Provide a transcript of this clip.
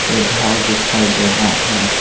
एक घर दिखाई दे रहा है।